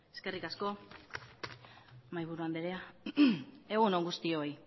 eskerrik asko mahaiburu andrea egun on guztioi